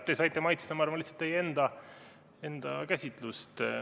Te saite maitsta, ma arvan, lihtsalt teie enda käsitlust.